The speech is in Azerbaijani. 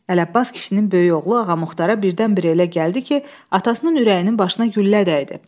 Ələbbas kişinin böyük oğlu Ağamuxatara birdən-birə elə gəldi ki, atasının ürəyinin başına güllə dəydi.